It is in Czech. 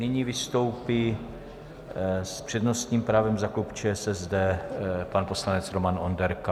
Nyní vystoupí s přednostním právem za klub ČSSD pan poslanec Roman Onderka.